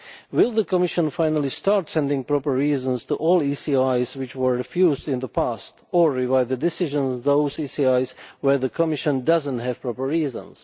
Will the Commission finally start sending proper reasons for all ECIs which were refused in the past or revise the decisions on those ECIs where the Commission does not have proper reasons?